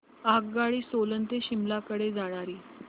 आगगाडी सोलन ते शिमला कडे जाणारी